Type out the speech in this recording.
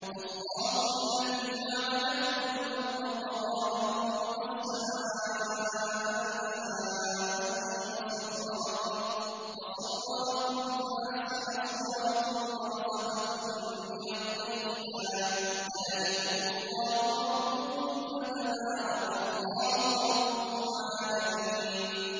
اللَّهُ الَّذِي جَعَلَ لَكُمُ الْأَرْضَ قَرَارًا وَالسَّمَاءَ بِنَاءً وَصَوَّرَكُمْ فَأَحْسَنَ صُوَرَكُمْ وَرَزَقَكُم مِّنَ الطَّيِّبَاتِ ۚ ذَٰلِكُمُ اللَّهُ رَبُّكُمْ ۖ فَتَبَارَكَ اللَّهُ رَبُّ الْعَالَمِينَ